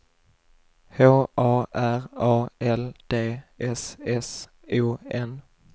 H A R A L D S S O N